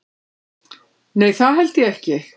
Nei það held ég ekki.